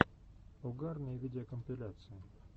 угарные видеокомпиляции